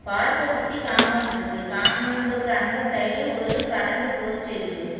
பார்க்க சுத்தி காம்பவுண்ட்ருக்கு காம்பவுண்டுக்கு அந்த சைடு ஒரு கரண்ட் போஸ்ட் இருக்கு.